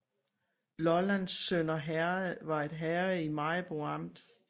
Lollands Sønder Herred var et herred i Maribo Amt